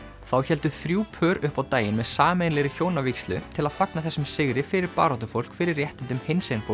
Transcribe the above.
þá héldu þrjú pör upp á daginn með sameiginlegri hjónavígslu til að fagna þessum sigri fyrir baráttufólk fyrir réttindum